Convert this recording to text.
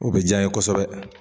O bɛ diya ye kosɛbɛ.